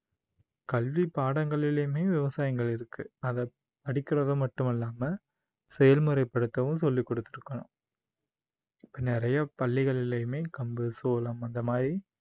கல்வி பாடங்களிலயுமே விவசாயங்கள் இருக்கு அதை படிக்குறது மட்டும் இல்லாம செயல்முறை படுத்தவும் சொல்லிக் கொடுத்திருக்கணும். இப்போ நிறைய பள்ளிகளிலயுமே கம்பு, சோளம் அந்த மாதிரி